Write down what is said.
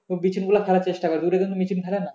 বীজ গুলো ফেলার চেষ্টা করে দূরে কিন্তু ফেলে